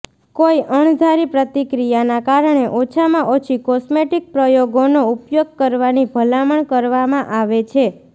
કોઈ અણધારી પ્રતિક્રિયાના કારણે ઓછામાં ઓછી કોસ્મેટિક પ્રયોગોનો ઉપયોગ કરવાની ભલામણ કરવામાં આવે છે